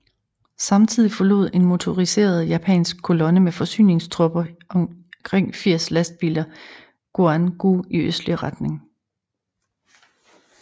Samtidig forlod en motoriseret japansk kolonne med forsyningstropper i omkring 80 lastbiler Guan Gou i østlig retning